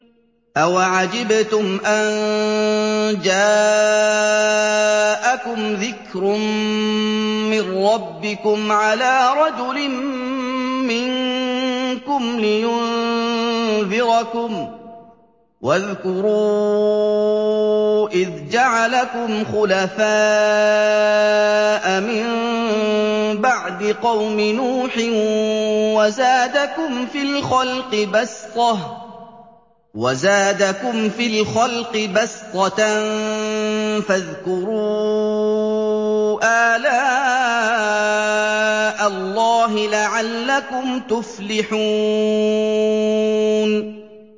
أَوَعَجِبْتُمْ أَن جَاءَكُمْ ذِكْرٌ مِّن رَّبِّكُمْ عَلَىٰ رَجُلٍ مِّنكُمْ لِيُنذِرَكُمْ ۚ وَاذْكُرُوا إِذْ جَعَلَكُمْ خُلَفَاءَ مِن بَعْدِ قَوْمِ نُوحٍ وَزَادَكُمْ فِي الْخَلْقِ بَسْطَةً ۖ فَاذْكُرُوا آلَاءَ اللَّهِ لَعَلَّكُمْ تُفْلِحُونَ